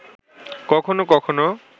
কখনও কখনও